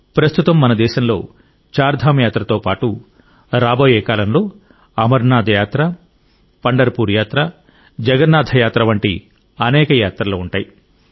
ప్రస్తుతం మన దేశంలో చార్ ధామ్ యాత్రతో పాటు రాబోయే కాలంలో అమర్నాథ్ యాత్ర పండర్పూర్ యాత్ర జగన్నాథ యాత్ర వంటి అనేక యాత్రలు ఉంటాయి